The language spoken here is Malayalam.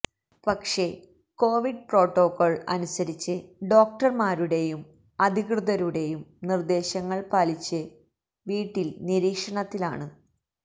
പക്ഷേ കൊവിഡ് പ്രോട്ടോകോള് അനുസരിച്ച് ഡോക്ടര്മാരുടെയും അധികൃതരുടെയും നിര്ദ്ദേശങ്ങള് പാലിച്ച് വീട്ടില് നിരീക്ഷണത്തിലാണ്